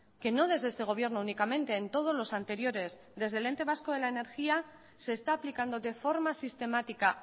que no desde este gobierno únicamente en todos los anteriores desde el ente vasco de la energía se está aplicando de forma sistemática